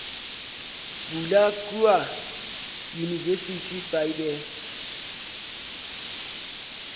bula kua university by the